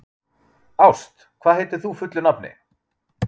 Ást, hvað heitir þú fullu nafni?